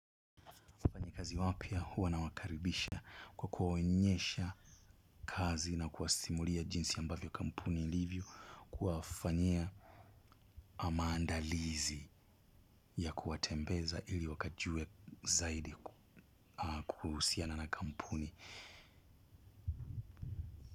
Wafanyikazi wapya huwa nawakaribisha kwa kuwaonyesha kazi na kuwasimulia jinsi ambavyo kampuni ilivyo kuwafanyia maandalizi ya kuwatembeza ili wakajue zaidi kuhusiana na kampuni.